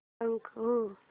thank you